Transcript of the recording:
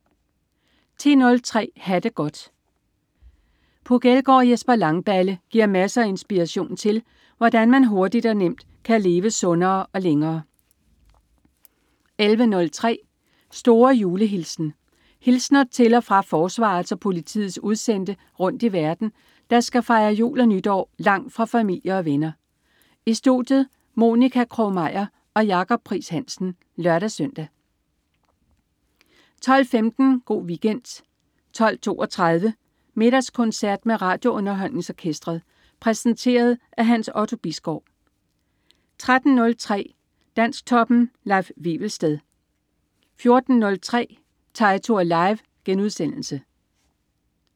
10.03 Ha' det godt. Puk Elgård og Jesper Langballe giver masser af inspiration til, hvordan man hurtigt og nemt kan leve sundere og længere 11.03 Store julehilsen. Hilsner til og fra forsvarets og politiets udsendte rundt i verden, der skal fejre jul og nytår langt fra familie og venner. I studiet: Monica Krog-Meyer og Jacob Pries-Hansen (lør-søn) 12.15 Go' Weekend 12.32 Middagskoncert med RadioUnderholdningsOrkestret. Præsenteret af Hans Otto Bisgaard 13.03 Dansktoppen. Leif Wivelsted 14.03 Teitur Live*